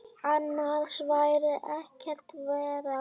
Annars væri ekkert verra.